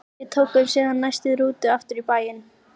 Við tókum síðan næstu rútu aftur í bæinn.